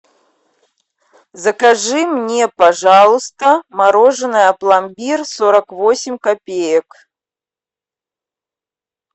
закажи мне пожалуйста мороженое пломбир сорок восемь копеек